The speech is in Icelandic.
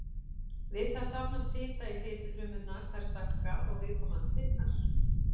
Við það safnast fita í fitufrumurnar, þær stækka og viðkomandi fitnar.